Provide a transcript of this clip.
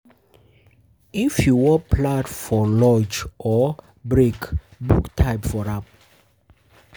If you won plan for um launch or um break um book time for am